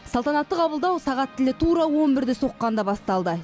салтанатты қабылдау сағат тілі тура он бірді соққанда басталды